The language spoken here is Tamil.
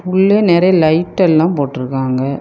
உள்ள நெறைய லைட் எல்லா போட்டுருக்காங்க.